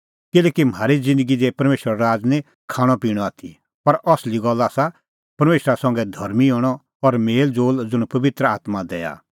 किल्हैकि म्हारी ज़िन्दगी दी परमेशरो राज़ निं खाणअपिणअ आथी पर असली गल्ल आसा परमेशरा संघै धर्मीं हणअ और मेल़ज़ोल़ ज़ुंण पबित्र आत्मां दैआ